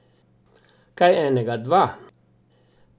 Kaj enega, dva.